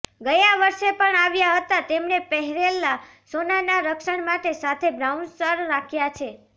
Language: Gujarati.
ગયા વર્ષે પણ આવ્યા હતા તેમણે પહેરેલા સોનાના રક્ષણ માટે સાથે બાઉન્સર રાખ્યા છે